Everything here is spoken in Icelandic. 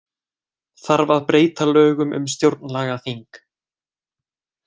Þarf að breyta lögum um stjórnlagaþing